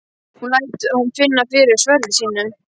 Hún lætur hann finna fyrir sverði sínu.